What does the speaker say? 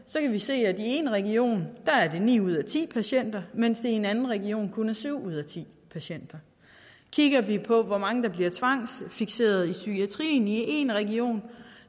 vi se at i én region er det ni ud af ti patienter mens det i en anden region kun er syv ud af ti patienter kigger vi på hvor mange der bliver tvangsfikseret i psykiatrien i én region